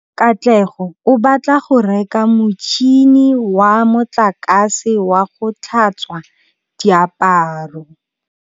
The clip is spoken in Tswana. Katlego o batla go reka motšhine wa motlakase wa go tlhatswa diaparo.